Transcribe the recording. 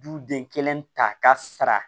Du den kelen ta ka sara